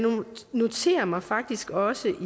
noterede mig faktisk også